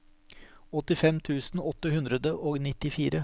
åttifem tusen åtte hundre og nittifire